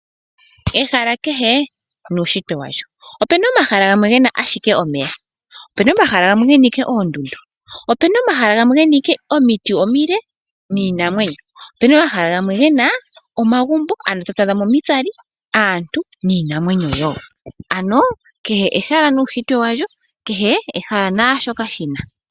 Ehala kehe nuushitwe washo opuna omahala gena ashike omeya, opuna omahala gamwe gena ashike oondundu, opuna omahala gamwe gena ashike omiti omile niinamwenyo, opuna omahala gamwe gena omagumbo moka twaadha mo omitsali, aantu niinamwenyo wo. Ano kehe ehala nuushitwe walyo. Kehe ehala naasho ka shina .